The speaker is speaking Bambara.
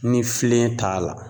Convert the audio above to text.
Ni filen t'a la